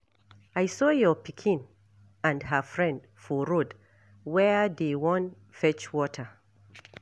I saw your pikin and her friend for road Where dey Wan fetch water.